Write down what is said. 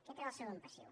aquest era el segon passiu